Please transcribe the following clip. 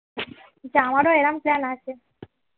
আমারো এরাম plan আছে